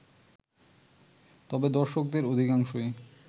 তবে দর্শকদের অধিকাংশই